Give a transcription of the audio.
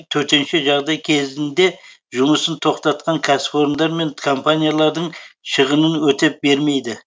төтенше жағдай кезінде жұмысын тоқтатқан кәсіпорындар мен компаниялардың шығынын өтеп бермейді